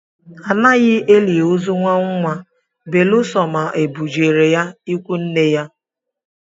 Anaghị eli ozu nnwa nnwa beresọ ma e bu jere ya ikwu nne ya